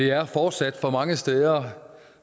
er fortsat for mange steder